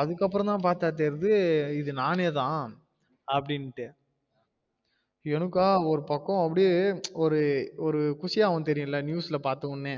அதுக்கு அப்ரோ தான் பாத்தா தெரிது இது நானே தான் அப்பிடினு எனக்கா ஒரு பக்கம் அப்டியே அப்டியே ஒரு ஒரு குசிய ஆகும் ஒன்னு தெரியுல news ல பாத்த வுடனே